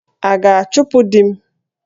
A ga-achụpụ di m?